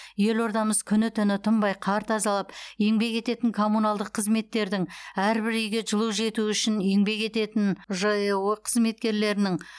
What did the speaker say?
елордамыз күні түні тынбай қар тазалап еңбек ететін коммуналдық қызметтердің әрбір үйге жылу жетуі үшін еңбек ететін жэо қызметкерлерінің